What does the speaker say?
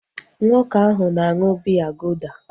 Nwoke ahu na aṅụ biya golda